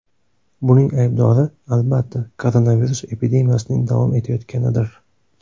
Buning aybdori, albatta, koronavirus epidemiyasining davom etayotganidir.